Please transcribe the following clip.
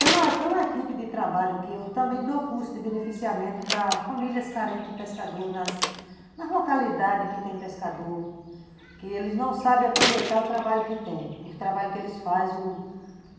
Tem uma tem uma equipe de trabalho que eu também dou curso de beneficiamento para famílias carentes de pescador, nas nas localidades que tem pescador, que eles não sabem aproveitar o trabalho que tem, o trabalho que eles fazem.